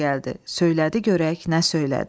Söylədi görək nə söylədi.